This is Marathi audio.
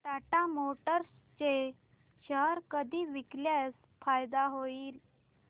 टाटा मोटर्स चे शेअर कधी विकल्यास फायदा होईल